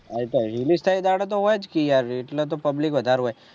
હા એની તય્લ દહાડે તો હોયછ કિયા એટલે તો public વધાર હોય